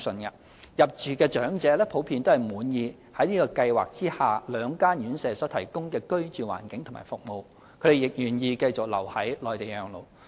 入住長者普遍滿意現計劃下兩間院舍所提供的居住環境和服務，他們亦願意繼續留在內地養老。